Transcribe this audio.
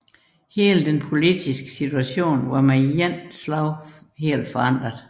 Hele den politiske situation var med et slag forandret